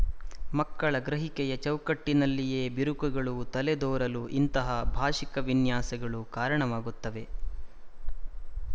ಮಕ್ಕಳ ಗ್ರಹಿಕೆಯ ಚೌಕಟ್ಟಿನಲ್ಲಿಯೇ ಬಿರುಕುಗಳು ತಲೆದೋರಲು ಇಂತಹ ಭಾಶಿಕ ವಿನ್ಯಾಸಗಳು ಕಾರಣವಾಗುತ್ತದೆ